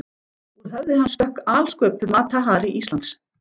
Úr höfði hans stökk alsköpuð Mata Hari Íslands: